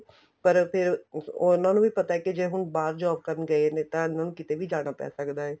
ਪਰ ਫ਼ੇਰ ਉਹਨਾ ਨੂੰ ਵੀ ਪਤਾ ਏ ਕੇ ਹੁਣ ਬਾਹਰ job ਕਰਨ ਗਏ ਨੇ ਤਾਂ ਇਹਨਾ ਨੂੰ ਕਿੱਥੇ ਵੀ ਜਾਣਾ ਪੈ ਸਕਦਾ ਏ